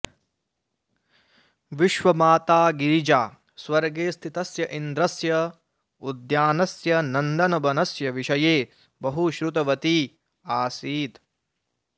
विश्वमाता गिरिजा स्वर्गे स्थितस्य इन्द्रस्य उद्यानस्य नन्दनवनस्य विषये बहुश्रुतवती आसीत्